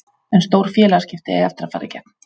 En stór félagsskipti eiga eftir að fara í gegn.